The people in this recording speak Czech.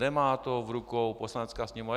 Nemá to v rukou Poslanecká sněmovna.